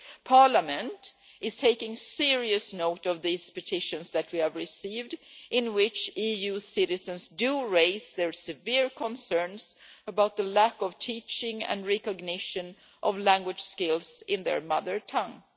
Parliament is taking serious note of these petitions that we have received, in which EU citizens do raise their severe concerns about the lack of teaching and recognition of language skills in their mother tongue.